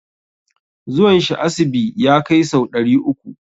Zuwan shi asibi ya kai sau ɗari uku.